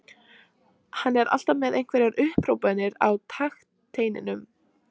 Hann er alltaf með einhverjar upphrópanir á takteinum.